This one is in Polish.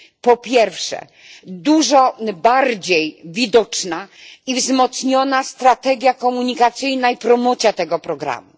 Po pierwsze, dużo bardziej widoczna i wzmocniona strategia komunikacyjna i promocja tego programu.